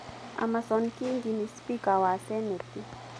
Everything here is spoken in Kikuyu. Amason Kingi nĩ spika wa senĩti.